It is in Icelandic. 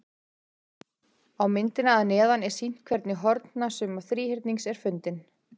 Á myndinni að neðan er sýnt hvernig hornasumma þríhyrnings er fundin.